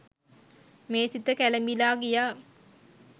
මේ සිත කැළඹිලා ගියා.